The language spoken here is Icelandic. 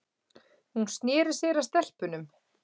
Hún sneri sér að stelpunum.